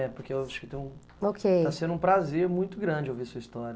É, porque eu acho que tem um... Qual que é? Está sendo um prazer muito grande ouvir sua história.